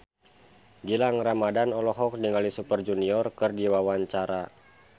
Gilang Ramadan olohok ningali Super Junior keur diwawancara